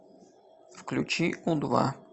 включи у два